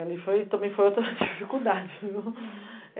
Ali também foi outra dificuldade, viu?